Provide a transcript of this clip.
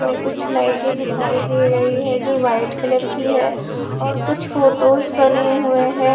में कुछ लाइटें दिखाई दे रही है जो वाइट कलर की है और कुछ फोटोस बने हुए हैं।